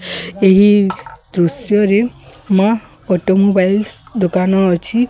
ଏହି ଦୃଶ୍ୟ ରେ ମା ଅଟୋମୋବାଇଲ ଦୋକାନ ଅଛି।